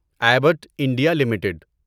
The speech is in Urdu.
Abbott India limited